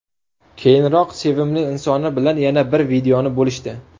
Keyinroq sevimli insoni bilan yana bir videoni bo‘lishdi.